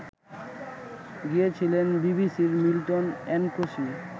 গিয়েছিলেন বিবিসির Milton Nkosi